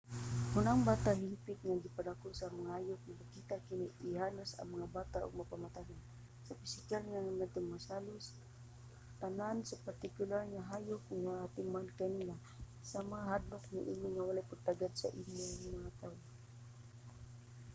kon ang bata hingpit nga gipadako sa mga hayop mopakita kining ihalas nga bata og mga pamatasan sa pisikal nga mga limitasyon nga halos sama tanan sa partikular nga hayop nga nag-atiman kaniya sama sa kahadlok niini o walay pagtagad sa mga tawo